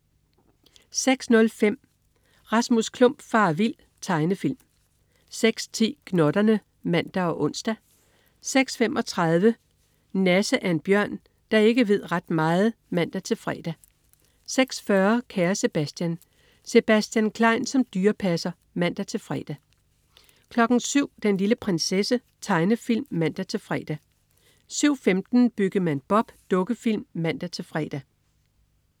06.05 Rasmus Klump farer vild. Tegnefilm 06.10 Gnotterne (man og ons) 06.35 Nasse. Nasse er en bjørn, der ikke ved ret meget (man-fre) 06.40 Kære Sebastian. Sebastian Klein som dyrepasser (man-fre) 07.00 Den lille prinsesse. Tegnefilm (man-fre) 07.15 Byggemand Bob. Dukkefilm (man-fre)